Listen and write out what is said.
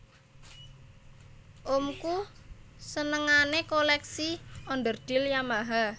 Omku senengane koleksi onderdil Yamaha